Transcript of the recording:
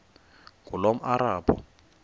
ngulomarabu